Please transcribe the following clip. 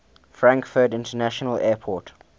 frankfurt international airport